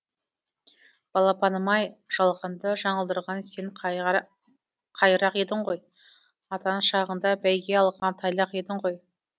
балапаным ай жалғанды жаңылдырған сен қайрақ едің ғой атан шағыңда бәйге алған тайлақ едің ғой